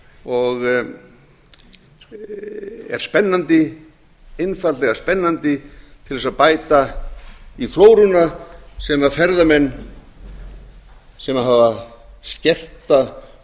og er spennandi einfaldlega spennandi til þess að bæta í flóruna sem ferðamenn sem hafa skerta